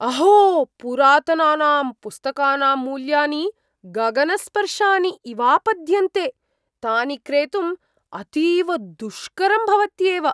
अहो! पुरातनानां पुस्तकानां मूल्यानि गगनस्पर्शीनि इवापद्यन्ते। तानि क्रेतुम् अतीव दुष्करं भवत्यैव।